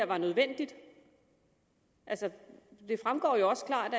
var nødvendigt altså det fremgår jo også klart